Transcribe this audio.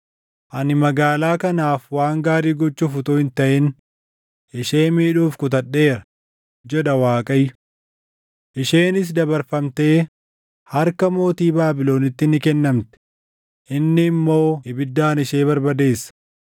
Ani magaalaa kanaaf waan gaarii gochuuf utuu hin taʼin ishee miidhuuf kutadheera, jedha Waaqayyo. Isheenis dabarfamtee harka mootii Baabilonitti ni kennamti; inni immoo ibiddaan ishee barbadeessa.’